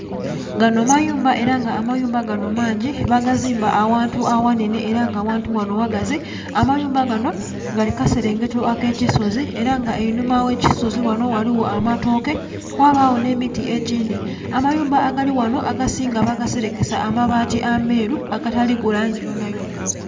Ganho mayumba era nga amayumba ganho mangi bagazimba aghantu aghanhenhe era nga aghantu ghanho ghagazi, amayumba ganho gali kukaselengeto akekisozi era nga einhuma eghe kisozi ghanho ghaligho amatooke ghabagho nhe miti egindhi, amayumba agalighanho agasinga bagaselekesa abaati amelu aga taliku langi yonha yonha.